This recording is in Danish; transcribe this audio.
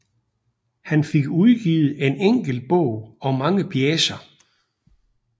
Han fik udgivet en enkelt bog og mange pjecer